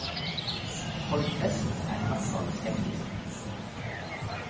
Folk flest er i hvert fall skeptiske.